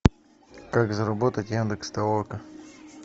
как заработать яндекс толока